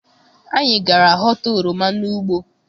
Anyị gara họta oroma n'ugbo.